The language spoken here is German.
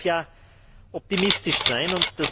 Man darf ja optimistisch sein.